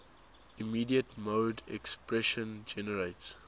immediate mode expression generates